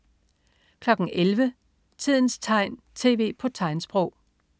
11.00 Tidens tegn, tv på tegnsprog